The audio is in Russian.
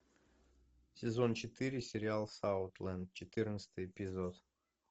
сезон четыре сериал саутленд четырнадцатый эпизод